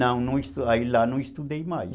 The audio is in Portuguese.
Não, aí lá não estudei mais.